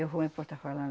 Eu vou em falando